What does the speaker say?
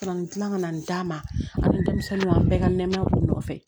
Ka na nin gilan ka na nin d'a ma a ni denmisɛnninw an bɛɛ ka nɛmaya b'u nɔfɛ